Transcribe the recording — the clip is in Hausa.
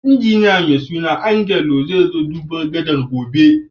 Injiniya mai suna Angelo zai zo duban gadan' gobe.